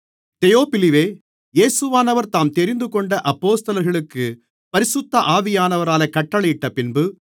48 தெயோப்பிலுவே இயேசுவானவர் தாம் தெரிந்துகொண்ட அப்போஸ்தலர்களுக்குப் பரிசுத்த ஆவியானவராலே கட்டளையிட்டபின்பு